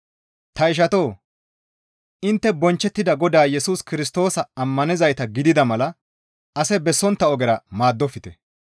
Ta ishatoo! Intte bonchchettida Godaa Yesus Kirstoosa ammanizayta gidida mala ase bessontta ogera maaddofte.